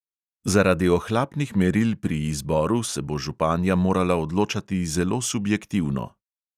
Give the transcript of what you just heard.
Zaradi ohlapnih meril pri izboru se bo županja morala odločati zelo subjektivno.